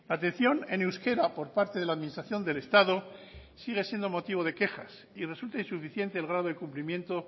atención en euskera por parte de la administración del estado sigue siendo motivo de quejas y resulta insuficiente el grado de cumplimiento